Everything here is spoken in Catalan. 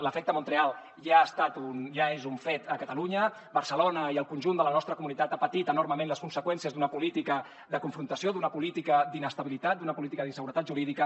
l’efecte montreal ja és un fet a catalunya barcelona i el conjunt de la nostra comunitat ha patit enormement les conseqüències d’una política de confrontació d’una política d’inestabilitat d’una política d’inseguretat jurídica